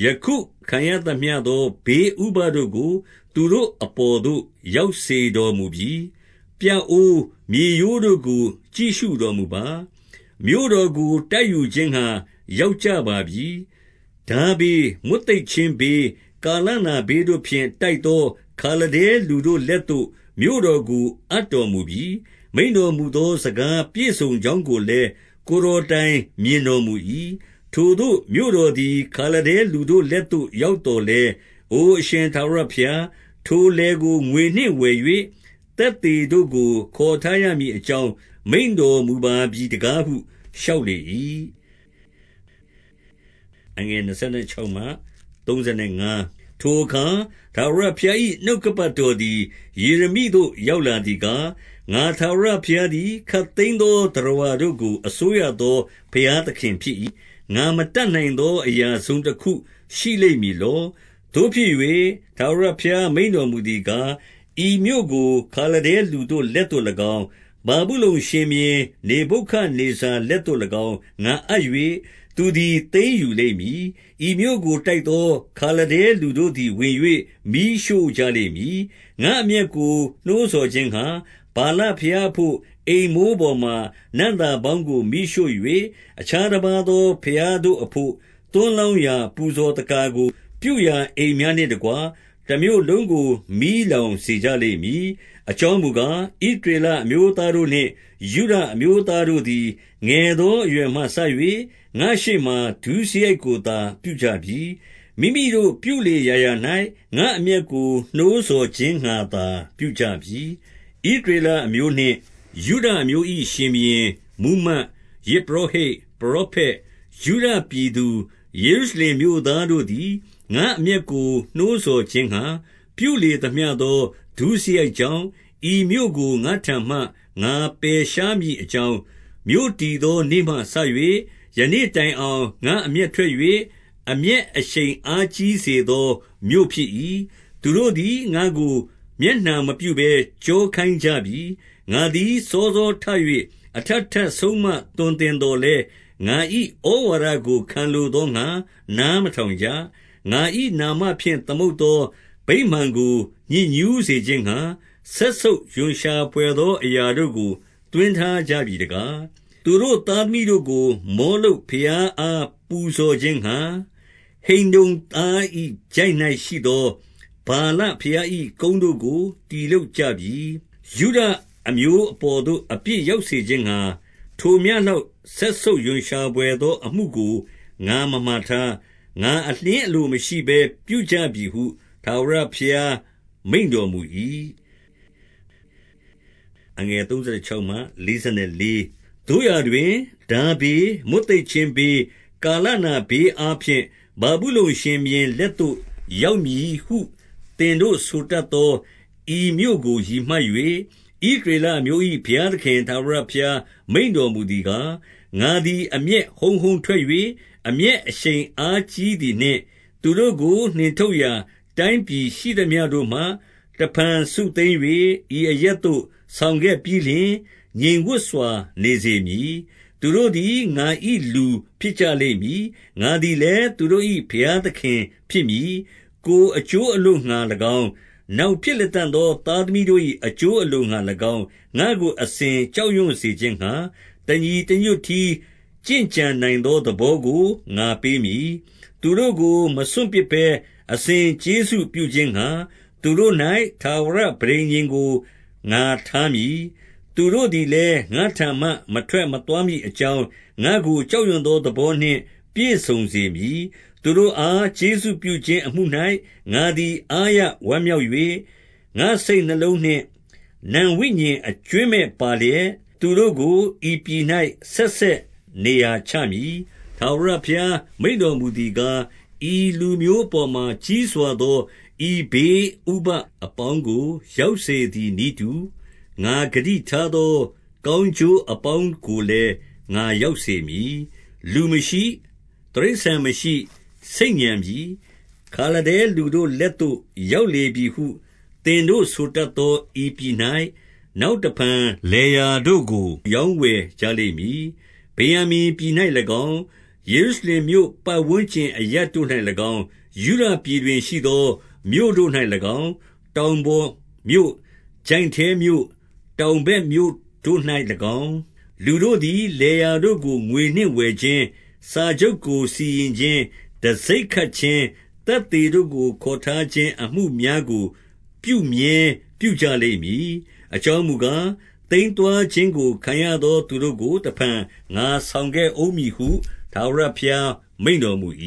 ၊ ယခုခံရသမျှသော ဘေးဥပဒ်တို့ကို သူတို့အပေါ်သို့ ရောက်စေတော်မူပြီ။ 24 ပြအိုးမြေရိုးတို့ကိုကြည့်ရှုတော်မူပါ။ မြို့တော်ကို တိုက်ယူခြင်းငှါ ရောက်ကြပါပြီ။ ထားဘေး၊ မွတ်သိပ်ခြင်း ဘေး၊ ကာလနာဘေးတို့ဖြင့် တိုက်သော ခါလဒဲလူတို့ လက်သို့ မြို့တော်ကို အပ်တော်မူပြီ။ မိန့်တော်မူသော စကားပြည့်စုံကြောင်းကိုလည်း ကိုယ်တော်တိုင် မြင်တော်မူ၏။ 25 ထိုမြို့တော်သည် ခါလဒဲလူတို့လက်သို့ ရောက်သော်လည်း၊ အိုအရှင် ထာဝရဘုရား၊ ထိုလယ်ကို ငွေနှင့်ဝယ်၍၊ သက်သေတို့ကို ခေါ်ထား ရမည်အကြောင်း မိန့်တော်မူပါပြီတကားဟု လျှောက်လေ ၏။ 26 ထိုအခါ ထာဝရဘုရား၏ နှုတ်ကပတ်တော် သည် ယေရမိသို့ ရောက်လာသည်ကား၊ 27 ငါ ထာဝရဘုရားသည် ခပ်သိမ်းသော သတ္တဝါ တို့ကို အစိုးရသော ဘုရားသခင်ဖြစ်၏။ ငါမတတ်နိုင် သော အရာတစုံတခုရှိလိမ့်မည်လော။ 28 သို့ဖြစ်၍၊ ထာဝရဘုရား မိန့်တော်မူသည်ကား၊ ဤမြို့ကို ခါလဒဲလူတို့ လက်သို့၎င်း၊ ဗာဗုလုန်ရှင်ဘုရင် နေဗုခဒ်နေဇာလက်သို့၎င်း ငါအပ်၍၊ သူသည် သိမ်းယူ လိမ့်မည်။ 29 ဤမြို့ကို တိုက်သော ခါလဒဲလူတို့သည်ဝင်၍ မီးရှို့ကြလိမ့်မည်။ ငါ့အမျက်ကိုနှိုးဆော်ခြင်းငှါ ဗာလ ဘုရားအဘို့ အိမ်မိုးပေါ်မှာ နံ့သာပေါင်းကိုမီးရှို၍၊ အခြား တပါးသော ဘုရားတို့အဘို့ သွန်းလောင်းရာပူဇော် သက္ကာ ကိုပြုရာ အိမ်များနှင့်တကွ၊ တမြို့လုံးကို မီးလောင်စေကြ လိမ့်မည်။ 30 အကြောင်းမူကား၊ ဣသရေလအမျိုးသားတို့နှင့် ယုဒအမျိုးသားတို့သည်၊ ငယ်သော အရွယ်မှစ၍ ငါ့ရှေ့ မှာ ဒုစရိုက်ကိုသာ ပြုကြပြီ။ မိမိတို့ ပြုလေရာရာ၌ ငါ့အမျက်ကို နှိုးဆော်ခြင်းငှါသာ ပြုကြပြီ။ 31 ဣသရေလအမျိုးနှင့် ယုဒအမျိုး၏ 32 ရှင်ဘုရင်၊ မှူးမတ်၊ ယဇ်ပုရောဟိတ်၊ ပရောဖက်၊ ယုဒပြည်သူ ယေရုရှလင်မြို့သားတို့သည် ငါ့အမျက်ကို နှိုးဆော်ခြင်းငှါ ပြုလေသမျှသော ဒုစရိုက်ကြောင့်၊ ဤမြို့ ကို ငါ့ထံမှ ငါပယ်ရှားမည်အကြောင်း၊ မြို့တည်သော နေ့မှစ၍ ယနေ့တိုင်အောင်၊ ငါ့အမျက်ထွက်၍၊ အမျက် အရှိန်အားကြီးစေသော မြို့ဖြစ်၏။ 33 သူတို့သည် ငါ့ကိုမျက်နှာမပြုဘဲ ကျောခိုင်းကြပြီ။ ငါသည် စောစောထ၍ အထပ်ထပ်ဆုံးမ သွန်သင်သော် လည်း၊ ငါ၏ဩဝါဒကို ခံလိုသောငှါ နားမထောင်ကြ။ 34 ငါ၏နာမဖြင့် သမုတ်သော ဗိမာန်ကို ညစ်ညှုး စေခြင်းငှါ၊ စက်ဆုပ်ရွံရှာဘွယ်သော အရာတို့ကို သွင်း ထားကြပြီတကား၊ 35 သူတို့သားသမီးတို့ကို မောလုပ်ဘုရားအား ပူဇော်ခြင်းငှါ၊ ဟိန္နုံ သား၏ချိုင့်၌ရှိသော ဗာလဘုရား၏ ကုန်းတို့ကို တည်လုပ်ကြပြီ။ ယုဒအမျိုးအပေါ်သို့ အပြစ် ရောက်စေခြင်းငှါ၊ ထိုမျှလောက် စက်ဆုပ်ရွံရှာဘွယ် သောအမှုကို ငါမမှာထား၊ ငါအလျှင်အလိုမရှိဘဲ ပြုကြပြီ ဟု ထာဝရဘုရား မိန့်တော်မူ၏။ 36 သို့ရာတွင်၊ ထားဘေး၊ မွတ်သိပ်ခြင်းဘေး၊ ကာလနာဘေးအားဖြင့် ဗာဗုလုန်ရှင်ဘုရင် လက်သို့ ရောက်မည်ဟု သင်တို့ဆိုတတ်သော ဤမြို့ကို ရည်မှတ် ၍၊ ဣသရေလအမျိုး၏ ဘုရားသခင် ထာဝရဘုရား မိန့်တော်မူသည်ကား၊ 37 ငါသည် အမျက်ဟုန်းဟုန်းထွက်၍၊ အမျက် အရှိန်အားကြီးသည်နှင့်၊ သူတို့ကိုနှင်ထုတ်ရာ တိုင်းပြည် ရှိသမျှတို့မှ၊ တဖန်စုသိမ်း၍ ဤအရပ်သို့ဆောင်ခဲ့ပြီး လျှင်၊ ငြိမ်ဝပ်စွာနေစေမည်။ 38 သူတို့သည် ငါ၏လူဖြစ်ကြလိမ့်မည်။ ငါသည် လည်း သူတို့၏ ဘုရားသခင်ဖြစ်မည်။ 39 ကိုယ်အကျိုးအလိုငှါ၎င်း၊ နောက်ဖြစ်လတံ့သော သားသမီးတို့၏ အကျိုးအလိုငှါ၎င်း၊ ငါ့ကိုအစဉ် ကြောက်ရွံ့ စေခြင်းငှါ တညီတညွတ်တည်း ကျင့်ကြံနိုင်သော သဘော ကို ငါပေးမည်။ 40 သူတို့ကို မစွန့်ပစ်ဘဲ အစဉ်ကျေးဇူးပြုခြင်းငှါ၊ သူတို့၌ ထာဝရပဋိညာဉ်ကို ငါထားမည်။ သူတို့သည်လည် ငါ့ထံမှ မထွက်မသွားမည်အကြောင်း၊ ငါ့ကိုကြောက်ရွံ့ သော သဘောနှင့် ပြည့်စုံစေမည်။ 41 သူတို့အား ကျေးဇူးပြုခြင်း အမှု၌ငါသည် အားရ ဝမ်းမြောက်၍၊ ငါ့စိတ်နှလုံးနှင့် နံဝိညာဉ်အကြွင်းမဲ့ ပါလျက်၊ သူတို့ကို ဤပြည်၌ ဆက်ဆက်နေရာချမည်။ 42 ထာဝရဘုရား မိန့်တော်မူသည်ကား၊ ဤလူမျိုး အပေါ်မှာ ကြီးစွာသော ဤဘေးဥပဒ်အပေါင်းကို ရောက်စေသည် နည်းတူ၊ ငါဂတိထားသော ကောင်းကျိုး အပေါင်းကိုလည်း ငါရောက်စေမည်။ 43 လူမရှိ၊ တိရစ္ဆာန်မရှိ ဆိတ်ညံပြီ၊ ခါလဒဲ လူတို့ လက်သို့ ရောက်လေပြီဟု သင်တို့ဆိုတတ်သော ဤပြည်၌၊ နောက်တဖန် လယ်ယာတို့ကို ရောင်းဝယ်ကြလိမ့်မည်။ 44 ဗင်္ယာမိန်ပြည်၌၎င်း၊ ယေရုရှလင်မြို့ ပတ်ဝန်း ကျင်အရပ်တို့၌၎င်း၊ ယုဒပြည်တွင်ရှိသော မြို့တို့၌၎င်း၊ တောင်ပေါ်မြို့၊ ချိုင့်ထဲမြို့၊ တောင်ဘက်မြို့တို့၌၎င်း၊ လူတို့သည် လယ်ယာတို့ကို ငွေနှင့်ဝယ်ခြင်း၊ စာချုပ်ကို စီရင်ခြင်း၊ တံဆိပ်ခတ်ခြင်း၊ သက်သေတို့ကိုခေါ်ထားခြင်း အမှုများကို ပြုမြဲပြုကြလိမ့်မည်။ အကြောင်းမူကား၊ သိမ်း သွားခြင်းကို ခံရသောသူတို့ကို တဖန် ငါဆောင်ခဲ့ဦး မည်ဟု ထာဝရဘုရား မိန့်တော်မူ၏။